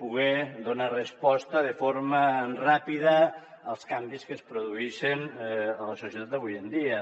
poder donar resposta de forma ràpida als canvis que es produïxen a la societat d’avui en dia